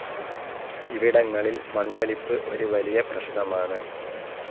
ഇവിടങ്ങളിൽ മണ്ണൊലിപ്പ് ഒരു വലിയ പ്രശ്നമാണ്